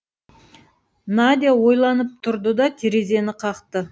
надя ойланып тұрды да терезені қақты